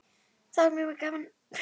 Það var mjög gaman.